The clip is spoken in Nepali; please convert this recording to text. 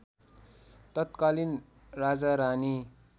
तत्कालीन राजारानी